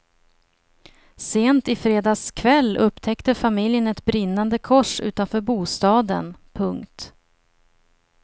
Sent i fredags kväll upptäckte familjen ett brinnande kors utanför bostaden. punkt